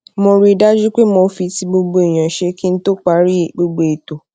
mo rí i dájú pé mo fi ti gbogbo èèyàn ṣe kí n tó parí gbogbo ètò